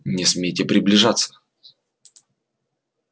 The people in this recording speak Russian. не смейте приближаться